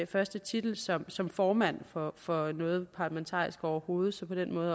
første titel som som formand for for noget parlamentarisk overhovedet så på den måde